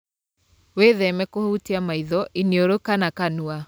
Wĩtheme kũhutia maitho, iniũrũ kana kanua.